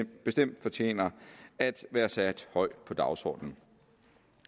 bestemt fortjener at være sat højt på dagsordenen